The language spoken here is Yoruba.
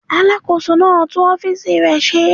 Alàkóso náà ń tún ọ́fìsì rẹ̀ ṣe